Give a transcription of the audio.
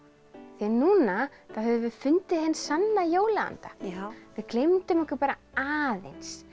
en núna höfum við fundið hinn sanna jólaanda já við gleymdum okkur bara aðeins